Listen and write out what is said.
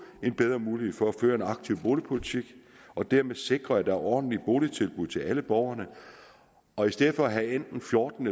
en bedre mulighed for at føre en aktiv boligpolitik og dermed sikre at der er ordentlige boligtilbud til alle borgerne og i stedet for at have enten fjorten